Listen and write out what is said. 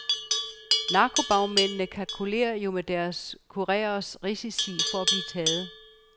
Narkobagmændene kalkulerer jo med deres kurereres risici for at blive taget.